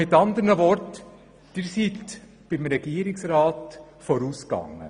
Sie sind beim Regierungsrat vorausgegangen.